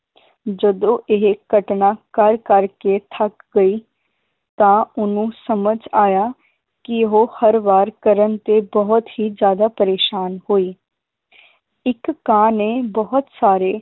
ਜਦੋਂ ਇਹ ਘਟਨਾ ਕਰ ਕਰ ਕੇ ਥੱਕ ਗਈ ਤਾਂ ਓਹਨੂੰ ਸਮਝ ਆਇਆ ਕਿ ਉਹ ਹਰ ਵਾਰ ਕਰਨ ਤੇ ਬਹੁਤ ਹੀ ਜ਼ਿਆਦਾ ਪ੍ਰੇਸ਼ਾਨ ਹੋਈ ਇੱਕ ਕਾਂ ਨੇ ਬਹੁਤ ਸਾਰੇ